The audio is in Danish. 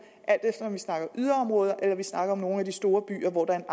alt efter om vi snakker yderområder eller vi snakker om nogle af de store byer hvor der